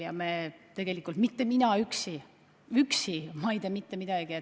Ja tegelikult mitte mina üksi – üksi ma ei tee mitte midagi.